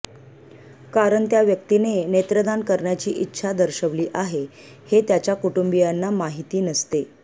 कारण त्या व्यक्तीने नेत्रदान करण्याची इच्छा दर्शविली आहे हे त्याच्या कुटुंबियांना माहिती नसते